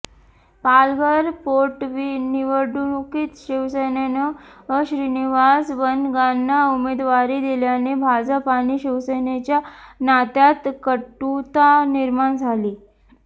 पालघर पोटनिवडणुकीत शिवसेनेनं श्रीनिवास वनगांना उमेदवारी दिल्याने भाजप आणि शिवसेनेच्या नात्यात कटुता निर्माण झाली